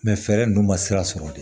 fɛɛrɛ ninnu ma sira sɔrɔ de